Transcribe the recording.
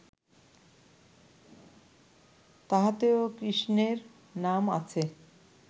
তাহাতেও কৃষ্ণের নাম আছে